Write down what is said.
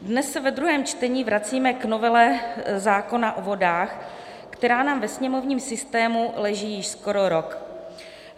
Dnes se ve druhém čtení vracíme k novele zákona o vodách, která nám ve sněmovním systému leží již skoro rok.